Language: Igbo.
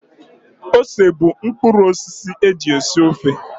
Ose bụ udị mkpụrụosisi a eji esi ofe